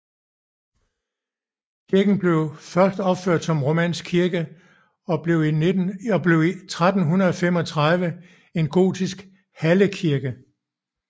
Kirken blev først opført som romansk kirke og blev 1335 en gotisk hallekirke